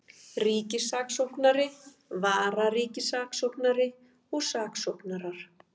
Ríkissaksóknari, vararíkissaksóknari og saksóknarar.